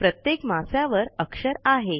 प्रत्येक मास्यावर अक्षर आहे